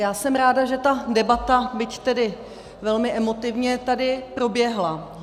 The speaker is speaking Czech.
Já jsem ráda, že ta debata, byť tedy velmi emotivně, tady proběhla.